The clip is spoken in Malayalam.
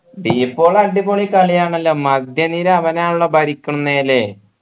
ഡി പോൾ അടിപൊളി കളിയാണല്ലോ മധ്യനിര അവനാണല്ലോ ഭരിക്കുന്നേ ല്ലേ